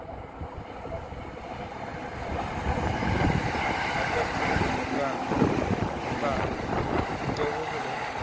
আবগানিস্তানের গ্রাম বা দেহ হল